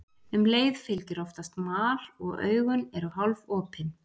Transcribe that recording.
Um leið fylgir oftast mal og augun eru hálfopin.